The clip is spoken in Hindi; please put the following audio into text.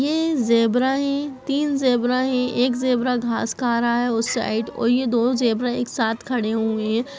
ये जेब्रा है तीन जेब्रा है एक जेब्रा घास खा रहा है उस साइड और ये दो जेब्रा एक साथ खड़े हुए हैं।